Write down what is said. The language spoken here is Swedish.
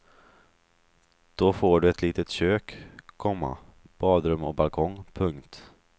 Då får du ett litet kök, komma badrum och balkong. punkt